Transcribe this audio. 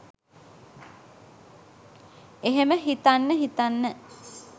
එහෙම හිතන්න හිතන්න